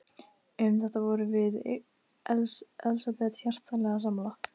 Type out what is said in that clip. Um þetta vorum við Elsabet hjartanlega sammála.